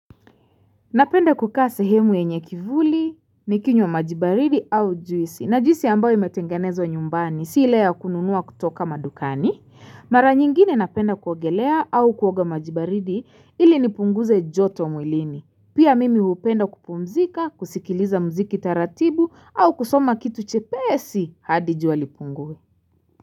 Napenda kukaa sehemu yenye kivuli, nikinywa maji baridi au juisi, na juisi ambayo imetengenezwa nyumbani, si ile ya kununua kutoka madukani. Mara nyingine napenda kuogelea au kuoga maji baridi ili nipunguze joto mwilini. Pia mimi hupenda kupumzika, kusikiliza mziki taratibu au kusoma kitu chepesi hadi jua lipungue.